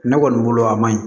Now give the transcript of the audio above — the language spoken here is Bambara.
Ne kɔni bolo a man ɲi